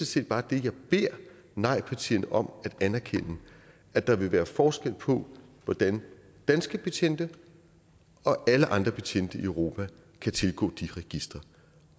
set bare det jeg beder nejpartierne om at anerkende at der vil være forskel på hvordan danske betjente og alle andre betjente i europa kan tilgå de registre